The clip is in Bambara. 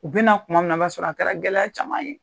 U bina kuma min na, o b'a sɔrɔ a kɛra gɛlɛya caman ye.